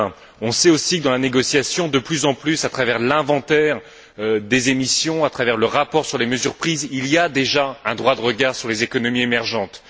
2020. On sait aussi que, dans la négociation, de plus en plus à travers l'inventaire des émissions, à travers le rapport sur les mesures prises, il y a déjà un droit de regard sur les économies émergentes.